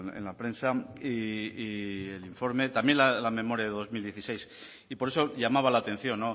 en la prensa y el informe también la memoria de dos mil dieciséis y por eso llamaba la atención